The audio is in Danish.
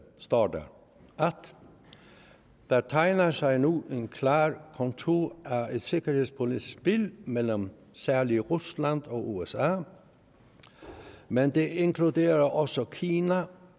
står der der tegner sig nu klare konturer af et sikkerhedspolitisk spil mellem særligt rusland og usa men det inkluderer også kina